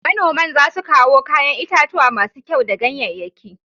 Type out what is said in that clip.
Manoman za su kawo kayan itatuwa masu kyau da ganyanyaki